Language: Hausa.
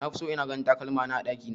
Nafi so ina ganin takalmana a ɗakina